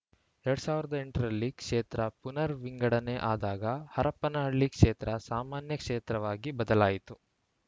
ಎರಡ್ ಸಾವಿರದ ಎಂಟು ರಲ್ಲಿ ಕ್ಷೇತ್ರ ಪುನರ್‌ ವಿಂಗಡಣೆ ಆದಾಗ ಹರಪನಹಳ್ಳಿ ಕ್ಷೇತ್ರ ಸಾಮಾನ್ಯ ಕ್ಷೇತ್ರವಾಗಿ ಬದಲಾಯಿತು